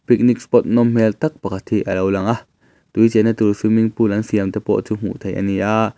picnic spot nawm hmel tak pakhat hi a lo langa tui chenna tur swimming pool an siam te pawh chu hmuh theih a ni a.